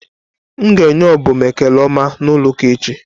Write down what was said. M ga enye Obum ekele ọma n'ụlọ ụka echi.